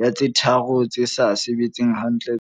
ya tse tharo tse sa sebetseng hantle tsa mahaeng.